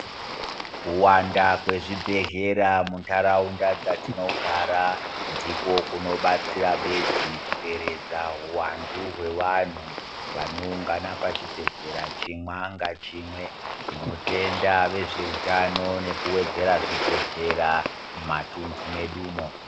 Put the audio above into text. Kuwanda kwezvibhedhlera muntaraunda dzatinogara ndiko kunobatsira bedzi kuderedza huvandu hwewanhu vanoungana pachibhedhlera chimwa ngachimwe. Tinotenda vezveutano nekuvedzera zvibhedhera mumatundu medumo.